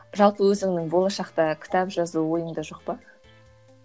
жалпы өзіңнің болашақта кітап жазу ойыңда жоқ па